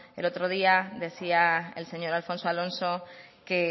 el otro día decía el señor alfonso alonso que